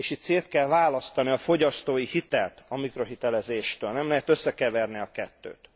És itt szét kell választani a fogyasztói hitelt a mikrohitelezéstől, nem lehet összekeverni a kettőt.